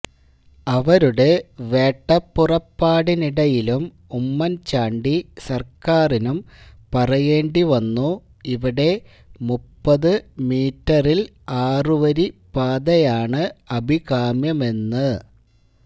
അവരുടെ വേട്ടപ്പുറപ്പാടിനിടയിലും ഉമ്മന്ചാണ്ടി സര്ക്കാറിനും പറയേണ്ടിവന്നു ഇവിടെ മുപ്പതു മീറ്ററില് ആറുവരിപ്പാതയാണ് അഭികാമ്യമെന്ന്